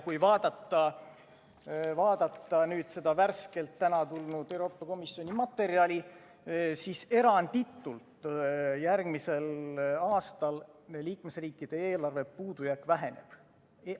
Kui vaadata seda värskelt, täna tulnud Euroopa Komisjoni materjali, siis eranditult järgmisel aastal liikmesriikide eelarve puudujääk väheneb.